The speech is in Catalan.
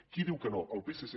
qui diu que no el psc